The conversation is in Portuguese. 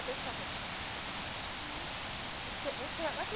choque nela. Aí, você você vai